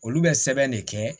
Olu bɛ sɛbɛn de kɛ